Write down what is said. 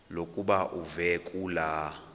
lokuba uve kulaa